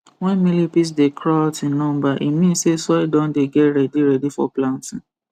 when millipedes dey craw out in number e mean say soil don dey get ready ready for planting